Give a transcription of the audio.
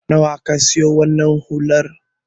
Nawa ka siyo wannan hular?